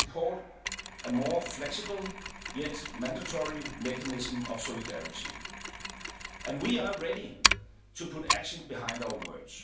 need. We support a more flexible yet mandatory mechanism of solidarity and we are ready to put actions behind our